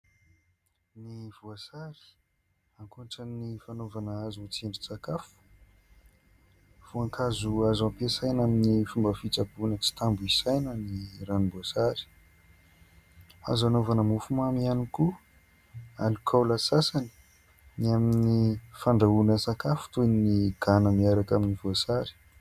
Ny voasary, ankoatra ny fanaovana azy ho tsindrin-tsakafo, voankazo azo am-piasaina amin'ny fomba fitsaboana tsy tambo isaina ny ranom-boasary. Azo anaovana mofo mamy ihany koa, alikaola sasany, ny amin'ny fandrahoana sakafo toy ny gana miaraka amin'ny voasary.